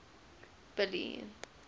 billy